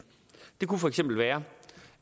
det kunne for eksempel være